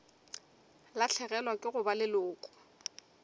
lahlegelwa ke go ba leloko